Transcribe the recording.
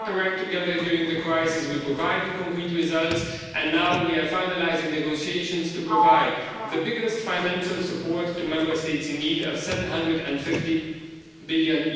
We got our act together during the crisis, we provided concrete results and now we are finalising negotiations to provide the biggest financial support to Member States, which are in need of EUR 750 billion.